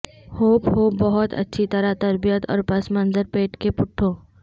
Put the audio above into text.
hope ہوپ بہت اچھی طرح تربیت اور پس منظر پیٹ کے پٹھوں